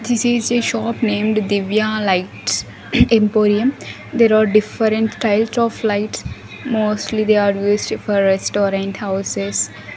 This is a shop named divya lights emporium there are different types of lights mostly they are used for restaurant houses.